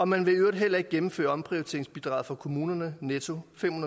man vil i øvrigt heller ikke gennemføre omprioriteringsbidraget for kommunerne netto fem